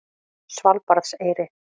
Svalbarðseyri